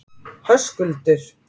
Höskuldur